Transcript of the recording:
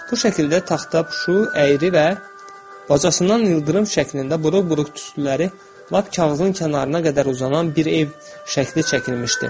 Bu şəkildə taxtapuşu əyri və bacasından ildırım şəklində buruq-buruq tüstüləri lap kağızın kənarına qədər uzanan bir ev şəkli çəkilmişdi.